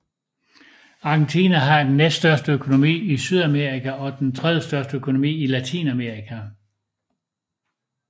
Argentina har den næststørste økonomi i Sydamerika og den tredje største økonomi i Latinamerika